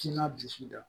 Tina bisi la